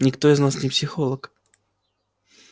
никто из нас не психолог